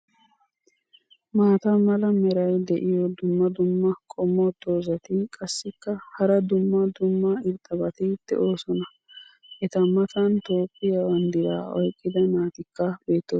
maata mala meray diyo dumma dumma qommo dozzati qassikka hara dumma dumma irxxabati doosona. eta matan toophphiya bandiraa oyqqida naatikka beetoosona.